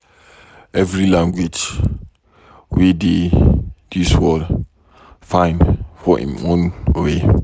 Every language wey dey dis world, fine for em own way.